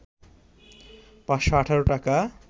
৫১৮ টাকা